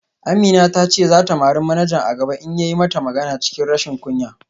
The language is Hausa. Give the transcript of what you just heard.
Amina ta ce za ta mari manaja a gaba in ya yi mata magana cikin rashin kunya